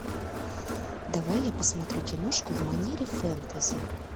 давай я посмотрю киношку в манере фэнтези